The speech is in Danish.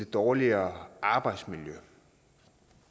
dårligere arbejdsmiljø jeg